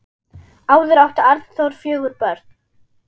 Áður átti Arnþór fjögur börn.